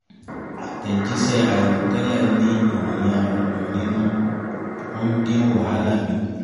àtẹ̀jíṣẹ́ àìrò tẹ́lẹ̀ ní ìròyìn ayọ́ nínú ó ń dín wàhálà mi kù